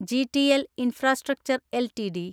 GTL infrastructure LTD